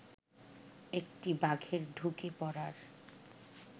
একটি বাঘের ঢুকে পড়ার